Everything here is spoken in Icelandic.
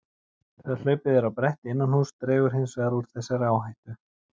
Þegar hlaupið er á bretti innan húss dregur hins vegar úr þessari áhættu.